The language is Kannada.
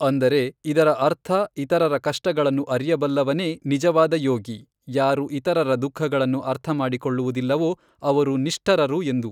ಅಂದರೆ ಇದರ ಅರ್ಥ ಇತರರ ಕಷ್ಟಗಳನ್ನು ಅರಿಯಬಲ್ಲವನೇ ನಿಜವಾದ ಯೋಗಿ, ಯಾರು ಇತರರ ದುಖಃಗಳನ್ನು ಅರ್ಥ ಮಾಡಿಕೊಳ್ಳುವುದಿಲ್ಲವೋ ಅವರು ನಿಷ್ಠರರು ಎಂದು.